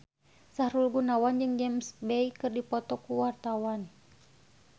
Sahrul Gunawan jeung James Bay keur dipoto ku wartawan